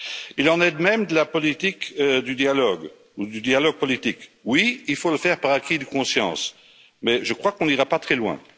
Il en est de même de la politique du dialogue ou du dialogue politique. Oui, il faut le faire par acquis de conscience mais je crois que nous n'irons pas très loin.